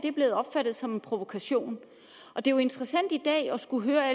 er blevet opfattet som en provokation det er jo interessant i dag at skulle høre